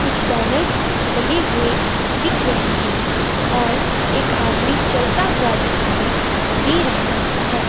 कुछ बैनर्स लगे हुए दिख रहे हैं और एक आदमी चलता हुआ दिखाई दे रहा है।